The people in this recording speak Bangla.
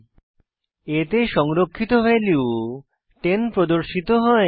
a তে সংরক্ষিত ভ্যালু 10 প্রদর্শিত হয়